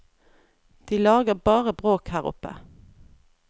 De lager bare bråk her oppe.